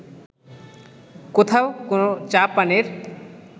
কোথাও কোনো চা পানের